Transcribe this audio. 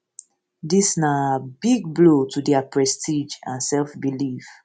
dis na um big blow to dia prestige and self belief